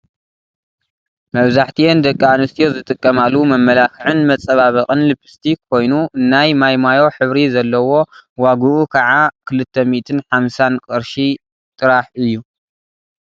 መብዛሕቲኣን ደቂ ኣንስትዮ ዝጥቀማሉ መመላክዕን መፃባበቅን ሊፕስቲክ ኮይኑ ናይ ማይሞዮ ሕብሪ ዘለዎ ዋግኢ ከዓ ክልተ ሚኢትን ሓምሳን ቅርሺ ጥራሕ እዩ።